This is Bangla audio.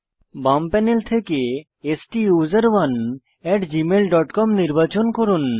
বাম প্যানেল থেকে STUSERONEgmail ডট কম নির্বাচন করুন